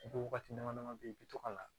I bɛ wagati dama dama bɛ yen i bɛ to ka na